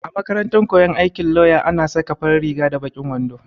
A makarantar koyon aikin lauya ana saka farin riga da baƙin wando.